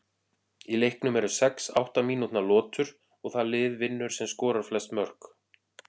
Í leiknum eru sex átta mínútna lotur og það lið vinnur sem skorar flest mörk.